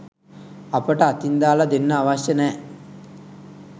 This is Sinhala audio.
අපට අතින් දාල දෙන්න අවශ්‍ය නෑ.